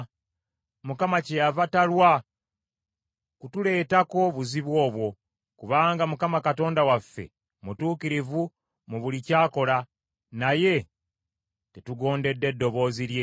Mukama kyeyava talwa kutuleetako buzibu obwo, kubanga Mukama Katonda waffe mutuukirivu mu buli ky’akola, naye tetugondedde ddoboozi lye.